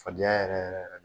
Fadenya yɛrɛ yɛrɛ yɛrɛ